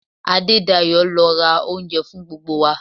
Adedayo ló ra oúnjẹ fún gbogbo wa.